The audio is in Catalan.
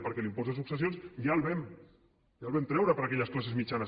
perquè l’impost de successions ja el vam treure per a aquelles classes mitjanes